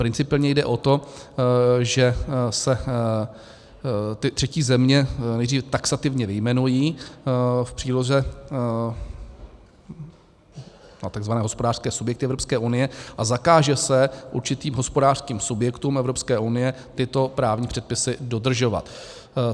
Principiálně jde o to, že se ty třetí země nejdřív taxativně vyjmenují, v příloze takzvané hospodářské subjekty Evropské unie, a zakáže se určitým hospodářským subjektům Evropské unie tyto právní předpisy dodržovat.